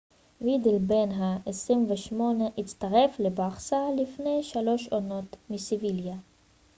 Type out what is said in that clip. וידל בן ה 28 הצטרף לברסה לפני שלוש עונות מסביליה